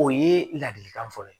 O ye ladilikan fɔlɔ ye